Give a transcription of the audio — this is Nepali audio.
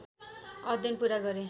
अध्ययन पुरा गरे